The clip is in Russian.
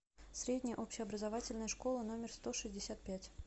средняя общеобразовательная школа номер сто шестьдесят пять